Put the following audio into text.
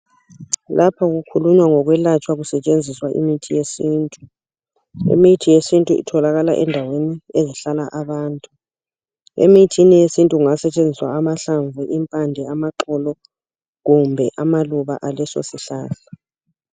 Lapha kukhulunywa ngokwelatshwa kusetshenziswa imithi yesintu imithi yesintu itholakala endaweni ezihlala abantu emithini yesintu kungasetshenziswa amahlamvu amaxolo kumbe amaluba esihlahla leso